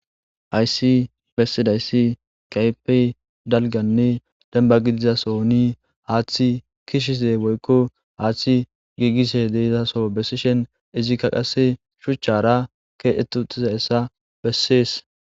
Hayssi bessidayssi qaypey dalganne demba gidizasoni haaththi kishize boykko haaththi giigise deizaso bessishen izikka qasse shuchchara keedetu uxiza essa bessees.